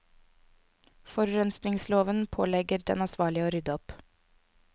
Forurensningsloven pålegger den ansvarlige å rydde opp.